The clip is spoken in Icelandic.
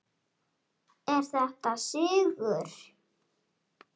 Er þetta sigur?